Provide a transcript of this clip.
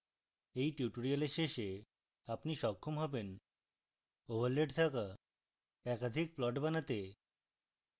at tutorial শেষে আপনি সক্ষম হবেন: